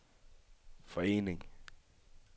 forening